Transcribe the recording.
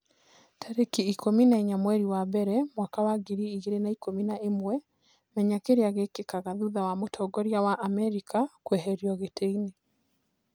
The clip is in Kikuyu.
Tarĩki ikũmi na inya mweri wa mbere mwaka wa ngiri igĩrĩ na ikũmi na ĩmwe, Menya kĩrĩa gĩkĩkaga thutha wa mũtongoria wa Amerika kũeherio gĩtĩ-inĩ